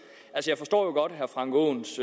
jeg forstår jo godt herre frank aaens